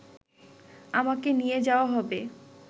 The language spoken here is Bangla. আমাকে নিয়ে যাওয়া হবে